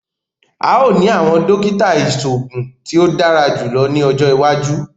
A óò ní awọn dókítà iṣoogun tí o dára jùlọ ní ọjọ iwájú